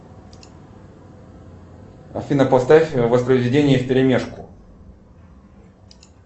афина поставь воспроизведение вперемешку